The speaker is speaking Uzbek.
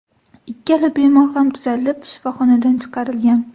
Ikkala bemor ham tuzalib, shifoxonadan chiqarilgan.